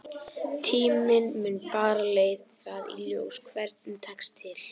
Tíminn mun bara leiða það í ljós hvernig tekst til.